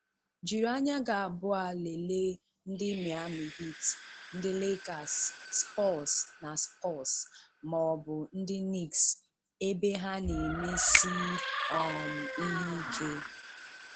Jiri anya gị abụọ lelee ndị Miami Heat, ndị Lakers, Spurs ma Spurs ma ọ bụ ndị Nicks ebe ha na-emesiị um ihe ike.